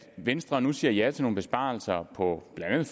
at venstre nu siger ja til nogle besparelser på blandt andet